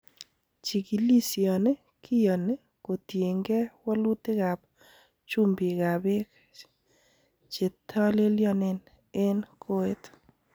Chikilisioni kiyoni kotiengei wolutikab chumbikab beek chetolelionen en koet.